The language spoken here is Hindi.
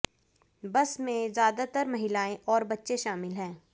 बस में ज्यादातर महिलाएं और बच्चे शामिल हैं